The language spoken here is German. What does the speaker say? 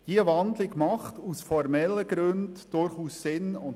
Diese Wandlung macht aus formellen Gründen durchaus Sinn;